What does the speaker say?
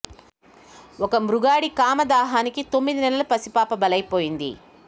ఓ మృగాడి కామ దాహానికి తొమ్మిది నెలల పసి పాప బలైపోయింది